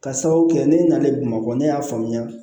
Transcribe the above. Ka sababu kɛ ne nalen bamakɔ ne y'a faamuya